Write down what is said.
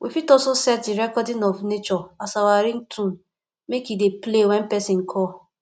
we fit also set the recording of nature as our ringtone make e dey play when persin call